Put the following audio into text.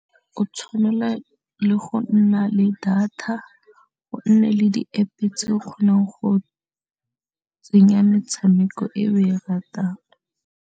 O tshwanela le go nna le data go nne le di App tse o kgonang go tsenya metshameko e o e ratang.